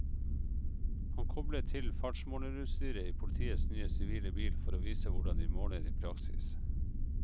Han kobler til fartsmålerutstyret i politiets nye sivile bil for å vise hvordan de måler i praksis.